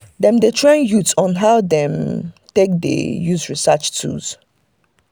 dem dey train youth on how dem take dey use research tools.